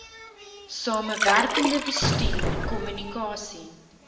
samewerkende bestuur kommunikasie